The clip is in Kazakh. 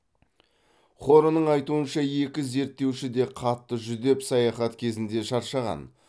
хорнның айтуынша екі зерттеуші де қатты жүдеп саяхат кезінде шаршаған